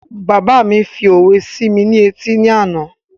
Bàbá mi fi òwe sí mi ní etí ni àná